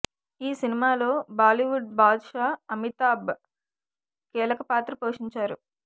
ఈ సినిమాలో Bollywood Badshah Amitabh కీలకపాత్ర పోషించారు